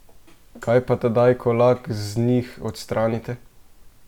Kaj pa tedaj, ko lak z njih odstranite?